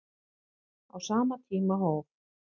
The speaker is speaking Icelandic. Á sama tíma hóf